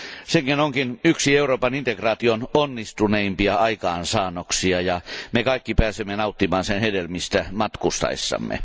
Se onkin yksi Euroopan integraation onnistuneimpia aikaansaannoksia, ja me kaikki pääsemme nauttimaan sen hedelmistä matkustaessamme.